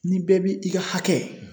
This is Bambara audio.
Ni bɛɛ bi i ka hakɛ